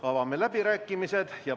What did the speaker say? Avame läbirääkimised.